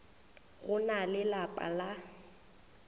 go na le lapa la